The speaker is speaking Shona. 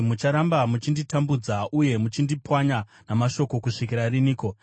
“Mucharamba muchinditambudza uye muchindipwanya namashoko kusvikira riniko?